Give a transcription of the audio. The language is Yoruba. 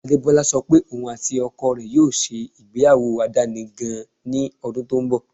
Adebọla sọ pé ọún àti oko rẹ̀ yóò ṣé igbeyawo aládani gan-an ní odun tó n bọ̀.